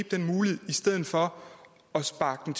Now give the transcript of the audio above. den mulighed i stedet for at sparke